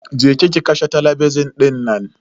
Je ki ki kashe talabijin dinnan